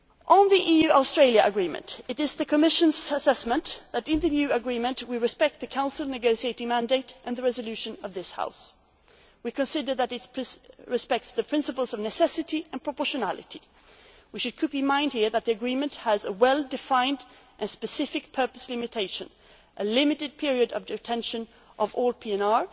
profiling. On the EU Australia agreement, the Commission's view is that the new agreement respects the Council's negotiating mandate and the resolution of this House. We consider that it respects the principles of necessity and proportionality. We should bear in mind that the agreement has a well defined and specific purpose limitation a limited period of detention of